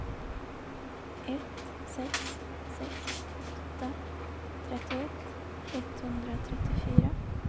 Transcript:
ett sex sex åtta trettioett etthundratrettiofyra